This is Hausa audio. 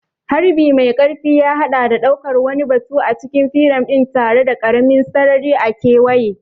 Harbi mai ƙarfi ya haɗa da ɗaukar wani batu a cikin firam ɗin tare da ƙaramin sarari a kewaye.